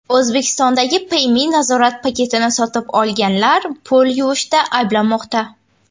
O‘zbekistondagi Payme nazorat paketini sotib olganlar pul yuvishda ayblanmoqda.